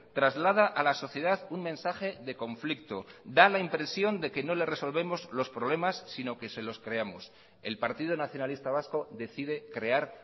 traslada a la sociedad un mensaje de conflicto da la impresión de que no le resolvemos los problemas sino que se los creamos el partido nacionalista vasco decide crear